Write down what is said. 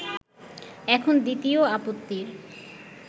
এখন দ্বিতীয় আপত্তির